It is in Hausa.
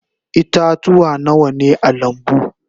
Ita-tuwa Nawa ne a lambu?